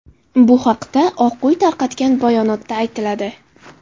Bu haqda Oq uy tarqatgan bayonotda aytiladi.